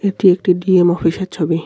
এটি একটি ডি_এম অফিসের ছবি.